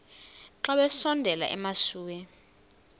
xa besondela emasuie